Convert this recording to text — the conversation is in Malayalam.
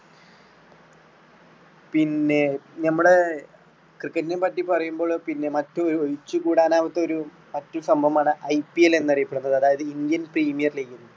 പിന്നെ നമ്മള് cricket നെ പറ്റി പറയുമ്പോൾ പിന്നെ മറ്റൊരു ഒഴിച്ചുകൂടാനാവാത്തൊരു മറ്റ് സംഭവമാണ് IPL എന്ന് അറിയപ്പെടുന്നത് അതായത് indian premier league